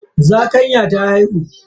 Zakanyan ta haihu.